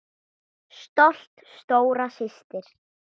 Stolt stóra systir.